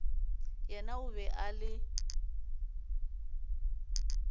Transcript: yena o be a le